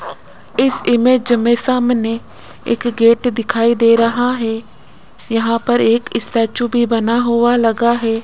इस इमेज में सामने एक गेट दिखाई दे रहा है यहां पर एक स्टैचू भी बना हुआ लगा है।